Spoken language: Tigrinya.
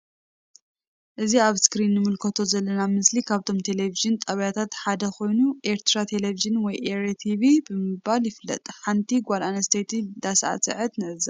እዚ ኣብ እስክሪን ንምልከቶ ዘለና ምስሊ ካብቶም ቴሊቭዥን ጣብያታት ሓደ ኮይኑ ኤርትራ ቴሊቭዥን ወይ ኤሪ ቴቪ ብምባል ይፍለጥ። ሓንቲ ጋል ኣንስትየቲ ዳሳዕስዐት ንዕዘብ።